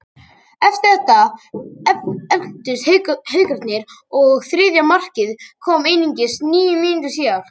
Eftir þetta efldust Haukarnir og þriðja markið kom einungis níu mínútum síðar.